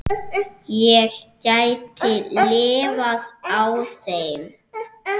Ég gæti lifað á þeim.